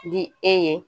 Di e ye